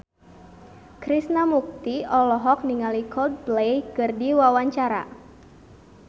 Krishna Mukti olohok ningali Coldplay keur diwawancara